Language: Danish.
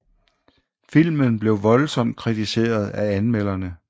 Filmen blev voldsomt kritiseret af anmelderne